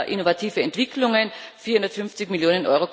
innovative Entwicklungen 450 Mio.